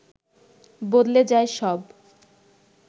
বদলে যায় সব